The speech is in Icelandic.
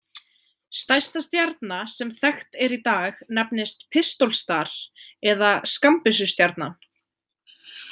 Stærsta stjarna sem þekkt er í dag nefnist Pistol star eða Skammbyssustjarnan.